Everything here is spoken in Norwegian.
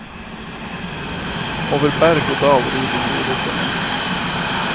Over berg og dal rir de to rytterne.